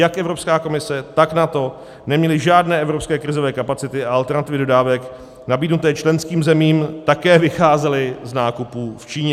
Jak Evropská komise, tak NATO neměly žádné evropské krizové kapacity a alternativy dodávek nabídnuté členským zemím také vycházely z nákupů v Číně.